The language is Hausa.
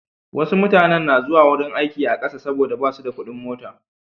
Wasu mutanen na zuwa wurin aiki a ƙasa saboda ba su da kuɗin mota.